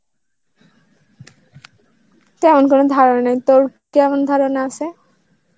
তেমন কোনো ধারণা নেই. তোর কেমন ধারণা আছে?